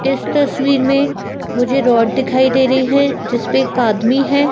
इस तस्वीर में मुझे रोड दिखाई दे रही है जिस पे एक आदमी है।